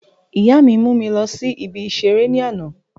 Ìyá mi mú mi lọ sí ibi ìseré ní àná